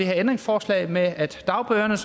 her ændringsforslag om at dagbøderne